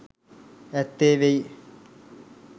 ඇත්තේ වෙයි.